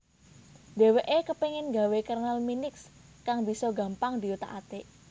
Dhèwèké kepéngin gawé kernel Minix kang bisa gampang diothak athik